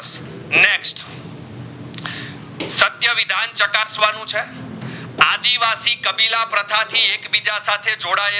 નસવાનું ચે આદિવાસી કાપીલા પ્રથા થી એકબીજા સાથે જોડાયેલ